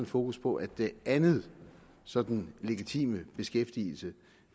fokus på at den anden sådan legitime beskæftigelse